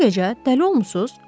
Bu gecə dəli olmusunuz?